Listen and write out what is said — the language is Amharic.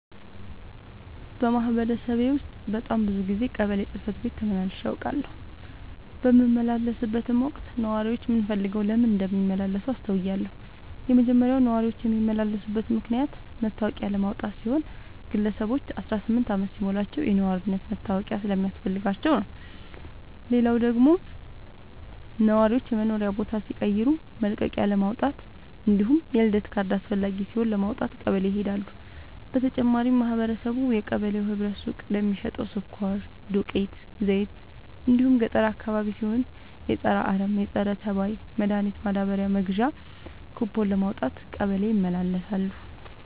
በማህበረሰቤ ውስጥ በጣም ብዙ ጊዜ ቀበሌ ጽህፈት ቤት ተመላልሼ አውቃለሁ። በምመላለስበትም ወቅት ነዋሪዎች ምን ፈልገው ለምን እንደሚመላለሱ አስተውያለሁ የመጀመሪያው ነዋሪዎች የሚመላለሱበት ምክንያት መታወቂያ ለማውጣት ሲሆን ግለሰቦች አስራስምንት አመት ሲሞላቸው የነዋሪነት መታወቂያ ስለሚያስፈልጋቸው ነው። ሌላው ደግሞ ነዋሪዎች የመኖሪያ ቦታ ሲቀይሩ መልቀቂያለማውጣት እንዲሁም የልደት ካርድ አስፈላጊ ሲሆን ለማውጣት ቀበሌ ይሄዳሉ። በተጨማሪም ማህበረቡ የቀበሌው ህብረት ሱቅ ለሚሸተው ስኳር፣ ዱቄት፣ ዘይት እንዲሁም ገጠር አካባቢ ሲሆን የፀረ አረም፣ ፀረተባይ መድሀኒት ማዳበሪያ መግዣ ኩቦን ለማውጣት ቀበሌ ይመላለሳሉ።